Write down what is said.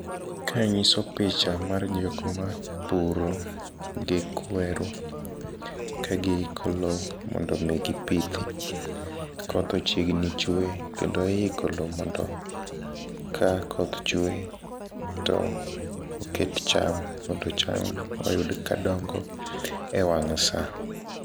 Ka nyiso picha mar jokma puro gi kweru ka giiko lo mondo omi gipithi. Koth ochiegni chwe kendo iiko lo mondo ka koth chwe to oket cham mondo cham oyud ka dongo e wang' sa.